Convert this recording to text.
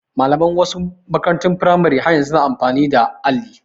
Malaman wasu makarantun firamare ɗin har yanzu su na amfani da alli